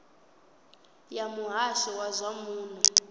ya muhasho wa zwa muno